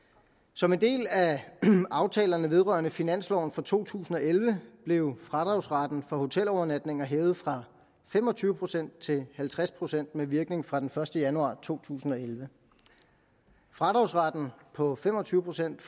som en del af aftalerne vedrørende finansloven for to tusind og elleve blev fradragsretten for hotelovernatninger hævet fra fem og tyve procent til halvtreds procent med virkning fra den første januar to tusind og elleve fradragsretten på fem og tyve procent